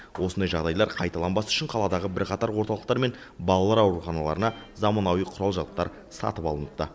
осындай жағдайлар қайталанбас үшін қаладағы бірқатар орталықтар мен балалар ауруханаларына заманауи құрал жабдықтар сатып алыныпты